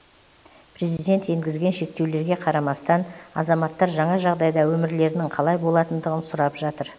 президент енгізген шектеулерге қарамастан азаматтар жаңа жағдайда өмірлерінің қалай болатындығын сұрап жатыр